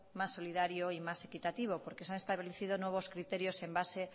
más solidario y más equitativo porque se han establecido nuevos criterios en base